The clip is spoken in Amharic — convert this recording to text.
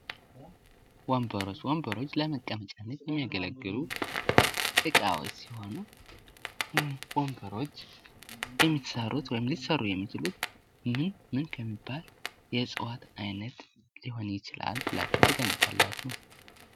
ወንበሮች ። ወንበሮች ለመቀመጫነት የሚያገለግሉ እቃዎች ሲሆኑ ወንበሮች የሚሰሩት ወይም ሊሰሩ የሚችሉት ምን ምን ከሚባል የእፅዋት አይነት ሊሄን ይችላል ብላችሁ ትገምታላችሁ?